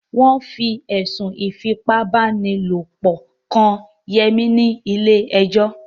Wọ́n fi ẹ̀sùn Ífipá-báni-lòpọ̀ kan Yẹmí ni ilé ẹjọ́